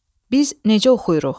Biz necə oxuyuruq?